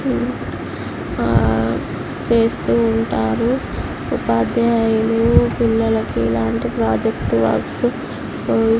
ఆ చేస్తూ ఉంటారు. ఉపాధ్యాయులు పిల్లలకి ఇలాంటి ప్రాజెక్టు వర్క్ --